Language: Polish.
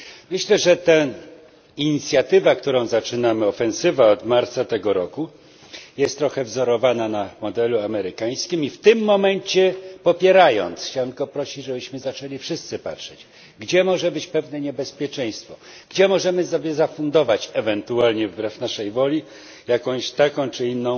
Myślę, że ta inicjatywa, którą zaczynamy, ofensywa od marca tego roku, jest trochę wzorowana na modelu amerykańskim, i popierając ją, chciałbym tylko prosić, żebyśmy zaczęli wszyscy patrzeć, gdzie może być pewne niebezpieczeństwo, gdzie możemy sobie zafundować ewentualnie wbrew naszej woli taką czy inna